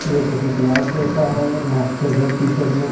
ये किसी क्लास है जैसा मास्टर रेड टी शर्ट में--